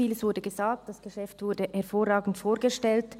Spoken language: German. vieles wurde gesagt und das Geschäft wurde hervorragend vorgestellt.